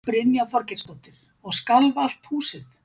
Brynja Þorgeirsdóttir: Og skalf allt húsið?